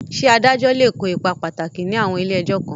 Ṣé adájọ́ lè kó ipa pàtàkì ní àwọn ilé ẹjọ́ kan?